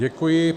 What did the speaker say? Děkuji.